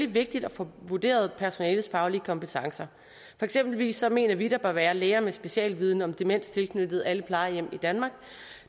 vigtigt at få vurderet personalets faglige kompetencer for eksempelvis mener vi at der bør være læger med specialviden om demens tilknyttede alle plejehjem i danmark